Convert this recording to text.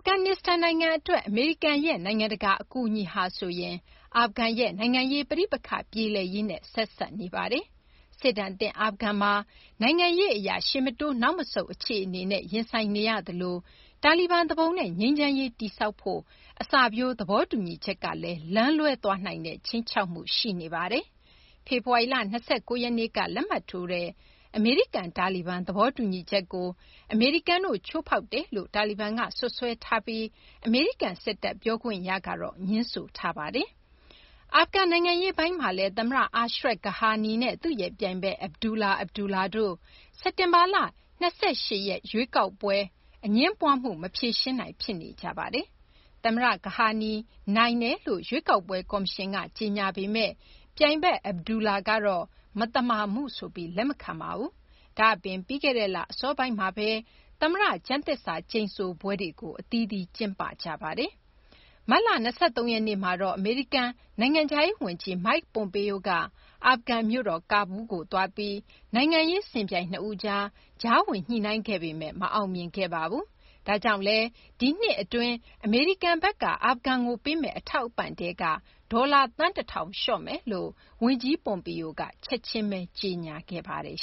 ဂန်နစ္စတန်နိုင်ငံအတွက် အမေရိကန်ရဲ့ နိုင်ငံတကာ အကူအညီဟာဆိုရင် အာဖဂန်ရဲ့ နိုင်ငံရေးပဋိပက္ခ ပြေလည်ရေးနဲ့ ဆက်စပ်နေပါတယ်။ စစ်ဒဏ်သင့် အာဖဂန်မှာ နိုင်ငံရေးအရ ရှေ့မတိုး နောက်မဆုတ် အခြေအနေနဲ့ ရင်ဆိုင်နေရသလို တာလီဘန်သူပုန်နဲ့ ငြိမ်းချမ်းရေးတည်ဆောက်ဖို့ အစပျိုး သဘောတူညီချက်ကလည်း လမ်းလွဲသွားနိုင်တဲ့ ခြိမ်းခြောက်မှု ရှိနေပါတယ်။ ဖေဖော်ဝါရီလ ၂၉ ရက်နေ့က လက်မှတ်ထိုးတဲ့ အမေရိကန်-တာလီဘန် သဘောတူညီချက်ကို အမေရိကန်တို့ ချိုးဖောက်တယ်လို့ တာလီဘန်က စွပ်စွဲထားပြီး အမေရိကန်စစ်တပ် ပြောခွင့်ရက ငြင်းဆိုထားတာပါ။ အာဖဂန်နိုင်ငံရေးပိုင်းမှာတော့ သမ္မတ Ashraf Ghani နဲ့ သူ့ရဲ့ပြိုင်ဘက် Abdullah Abdullah တို့ စက်တင်ဘာ ၂၈ ရွေးကောက်ပွဲ အငြင်းပွားမှုကို မဖြေရှင်းနိုင် ဖြစ်နေကြပါတယ်။ သမ္မတ Ghani နိုင်တယ်လို့ ရွေးကောက်ပွဲ ကော်မရှင်က ကြေညာပေမယ့် ပြိုင်ဘက် Abdullah ကတော့ မသမာမှုဆိုပြီး လက်မခံပါဘူး။ ဒါ့အပြင် ပြီးခဲ့တဲ့လ အစောပိုင်းမှာပဲ သမ္မတ ကျမ်းသစ္စာကျိန်ဆိုပွဲတွေကို အသီးသီး ကျင်းပခဲ့ကြတာပါ။ မတ်လ ၂၃ ရက်နေ့မှာတော့ အမေရိကန် နိုင်ငံခြားရေးဝန်ကြီး Mike Pompeo က အာဖဂန်မြို့တော် ကဘူးလ်ကို သွားပြီး နိုင်ငံရေး စင်ပြိုင် ၂ ဦးကြား ကြားဝင်ညှိနှိုင်းခဲ့ပေမယ့် မအောင်မြင်ခဲ့ပါဘူး။ ဒါကြောင့်လည်း ဒီနှစ်အတွင်း အမေရိကန်ဘက်က အာဖဂန်ကိုပေးမယ့် အထောက်အပံ့ထဲက ဒေါ်လာ သန်း ၁ ထောင် လျှော့မယ်လို့ ဝန်ကြီး Pompeo က ချက်ချင်းပဲ ကြေညာခဲ့ပါတယ်